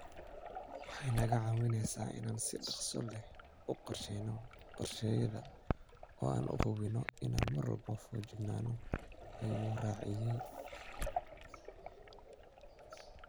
Waxay naga caawinaysaa inaan si dhakhso leh u qorshayno qorshayaashayada oo aan hubinno inaan mar walba feejignaano, ayuu raaciyay.